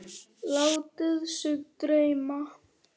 Látið sig dreyma.